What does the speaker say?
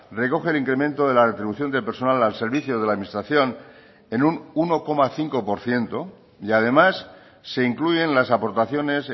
recoge el incremento de la retribución del personal al servicio de la administración en un uno coma cinco por ciento y además se incluyen las aportaciones